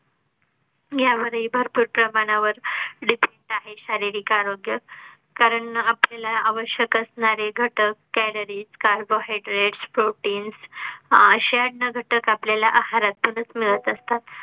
यामध्ये भरपूर प्रमाणावर defect आहे. शारीरिक आरोग्य कारण आपल्याला आवश्यक असणारे घटक calories, carbohydrate, protein अशा अन्नघटक आपल्या ला आहारातूनच मिळत असतात